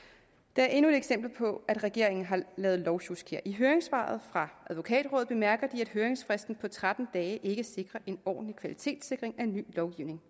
der er endnu et eksempel på at regeringen har lavet lovsjusk i høringssvaret fra advokatrådet bemærker de at høringsfristen på tretten dage ikke sikrer en ordentlig kvalitetssikring af en ny lovgivning